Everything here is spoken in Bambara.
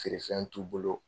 Feere fɛn t'u bolo.